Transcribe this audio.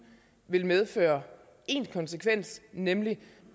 vil medføre én konsekvens nemlig